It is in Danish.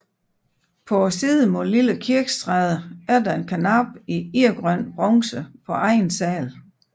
På siden mod Lille Kirkestræde er der en karnap i irgrøn bronze på anden sal